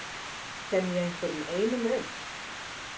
Kenni ég einhverjum einum um?